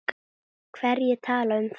Hverjir tala um það?